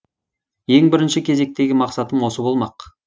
ең бірінші кезектегі мақсатым осы болмақ